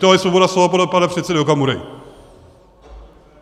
To je svoboda slova podle pana předsedy Okamury!